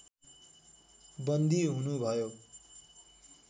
बन्दी हुनु भयो